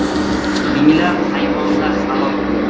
Minglab hayvonlar halok bo‘lgan.